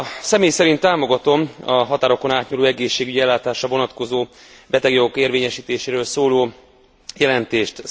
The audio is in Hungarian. Személy szerint támogatom a határokon átnyúló egészségügyi ellátására vonatkozó betegjogok érvényesítéséről szóló jelentést.